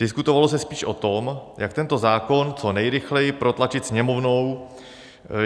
Diskutovalo se spíš o tom, jak tento zákon co nejrychleji protlačit Sněmovnou.